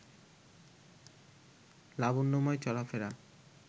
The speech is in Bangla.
লাবণ্যময় চলাফেরা